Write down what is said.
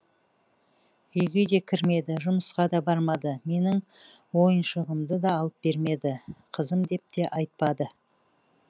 үйге де кірмеді жұмысқа да бармады менің ойыншығымды да алып бермеді қызым деп те айтпады